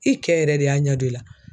I kɛ yɛrɛ de y'a ɲɛdɔn i la.